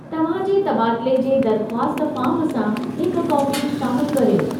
तव्हां जे तबादले जे दरख़्वास्त फ़ार्म सां हिक कापी शामिलु करियो।